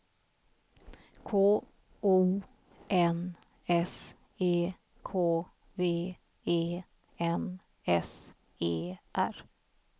K O N S E K V E N S E R